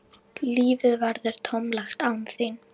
Lífið verður tómlegt án þín.